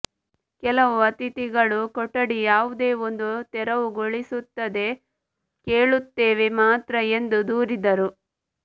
ಕೆಲವು ಅತಿಥಿಗಳು ಕೊಠಡಿ ಯಾವುದೇ ಒಂದು ತೆರವುಗೊಳಿಸುತ್ತದೆ ಕೇಳುತ್ತೇವೆ ಮಾತ್ರ ಎಂದು ದೂರಿದರು